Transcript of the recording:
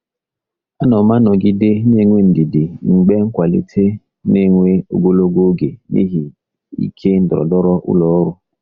Ana m anọgide na-enwe ndidi mgbe nkwalite na-ewe ogologo oge n'ihi ike ndọrọndọrọ ụlọ ọrụ.